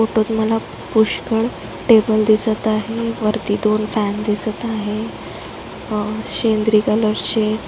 फोटोत मला पुष्कळ टेबल दिसत आहे वरती दोन फॅन दिसत आहे आ शेंद्री कलरचे --